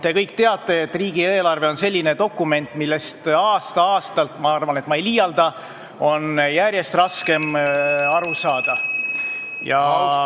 Te kõik teate, et riigieelarve on selline dokument, millest on aasta-aastalt – ma arvan, et ma ei liialda – järjest raskem aru saada ja ...